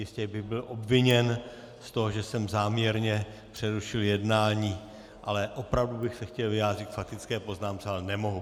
Jistě bych byl obviněn z toho, že jsem záměrně přerušil jednání, ale opravdu bych se chtěl vyjádřit k faktické poznámce, ale nemohu.